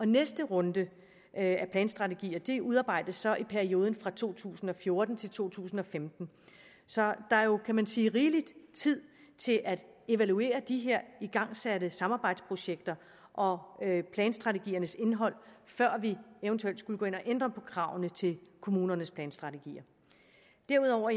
næste runde af planstrategier udarbejdes så i perioden fra to tusind og fjorten til to tusind og femten så der er jo kan man sige rigelig tid til at evaluere de her igangsatte samarbejdsprojekter og planstrategiernes indhold før vi eventuelt skulle gå ind at ændre på kravene til kommunernes planstrategier derudover